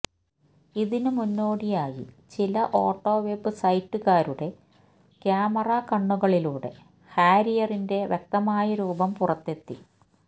ഇതിന് മുന്നോടിയായി ചില ഓട്ടോവെബ് സൈറ്റുകാരുടെ ക്യാമറ കണ്ണുകളിലൂടെ ഹാരിയറിന്റെ വ്യക്തമായ രൂപം പുറത്തെത്തി